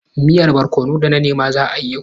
Miyar barkono da na nema za a yi yau.